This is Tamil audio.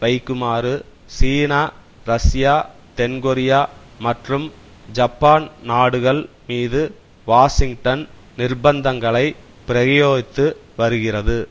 வைக்குமாறு சீனா ரஷ்யா தென்கொரியா மற்றும் ஜப்பான் நாடுகள் மீது வாஷிங்டன் நிர்ப்பந்தங்களைப் பிரயோகித்து வருகிறது